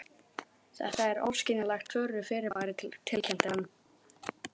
Þetta er óskiljanlegt furðufyrirbæri tilkynnti hann.